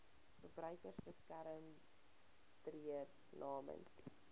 verbruikersbeskermer tree namens